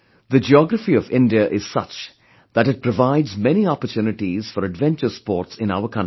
The geography of India is such that it provides many opportunities for adventure sports in our country